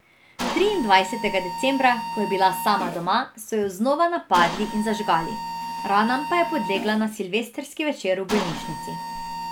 Triindvajsetega decembra, ko je bila sama doma, so jo znova napadli in zažgali, ranam pa je podlegla na silvestrski večer v bolnišnici.